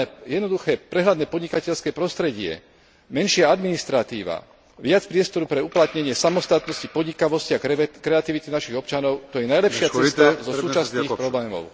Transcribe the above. Jednoduché, prehľadné podnikateľské prostredie, menšia administratíva, viac priestoru pre uplatnenie samostatnosti, podnikavosti a kreativity našich občanov, to je najlepšia cesta zo súčasných problémov.